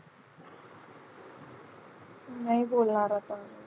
नाही बोलणार आता.